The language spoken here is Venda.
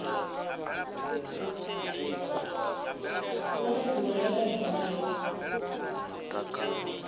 vha na nḓivho ya ḽaiburari